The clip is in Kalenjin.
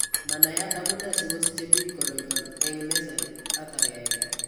Manaiyat amune sikosiche biik koroiton eng' nesire artery aeng'e